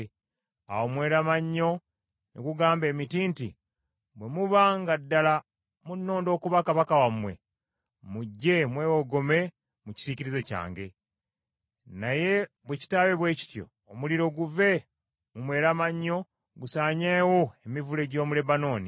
Awo omweramannyo ne gugamba emiti nti, ‘Bwe muba nga ddala munnonda okuba kabaka wammwe, mujje mwewogome mu kisiikirize kyange. Naye bwe kitaba kityo, omuliro guve mu mweramannyo gusaanyeewo emivule gy’omu Lebanooni.’